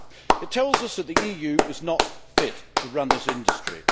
It tells us that the EU is not fit to run this industry.